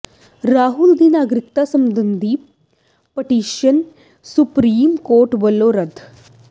ਰਾਹੁਲ ਦੀ ਨਾਗਰਿਕਤਾ ਸਬੰਧੀ ਪਟੀਸ਼ਨ ਸੁਪਰੀਮ ਕੋਰਟ ਵੱਲੋਂ ਰੱਦ